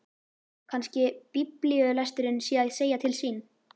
Kannski biblíulesturinn sé að segja til sín.